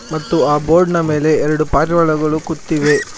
ಮತ್ತು ಆ ಬೋರ್ಡ್ ನ ಮೇಲೆ ಎರಡು ಪಾರಿವಾಳಗಳು ಕುತ್ತಿವೆ.